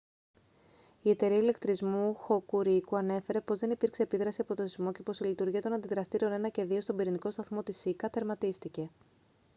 η εταιρεία ηλεκτρισμού hokuriku ανέφερε πως δεν υπήρξε επίδραση από το σεισμό και πως η λειτουργία των αντιδραστήρων 1 και 2 στον πυρηνικό σταθμό της σίκα τερματίστηκε